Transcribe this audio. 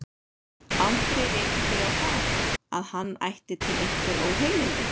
Aldrei rekið þig á það, að hann ætti til einhver óheilindi?